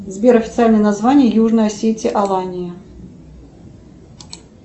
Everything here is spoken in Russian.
сбер официальное название южной осетии алания